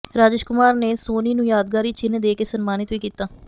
ਰਾਜੇਸ਼ ਕੁਮਾਰ ਨੇ ਸੋਨੀ ਨੂੰ ਯਾਦਗਾਰੀ ਚਿੰਨ੍ਹ ਦੇ ਕੇ ਸਨਮਾਨਿਤ ਵੀ ਕੀਤਾ